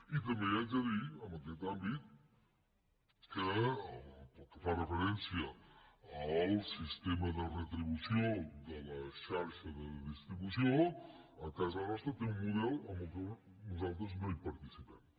i també li haig de dir en aquest àmbit que pel que fa referència al sistema de retribució de la xarxa de distribució a casa nostra té un model en què nosaltres no participem